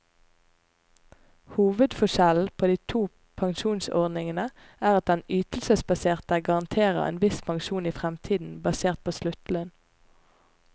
Hovedforskjellen på de to pensjonsordningene er at den ytelsesbaserte garanterer en viss pensjon i fremtiden, basert på sluttlønn.